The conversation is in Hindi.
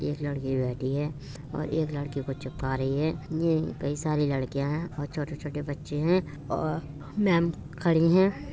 '' एक लड़की बैठी है और एक लड़के को चिपका रही है कई सारी लड़कियां हैं और छोटे-छोटे बच्चे हैं और मेम खड़ी हैं। ''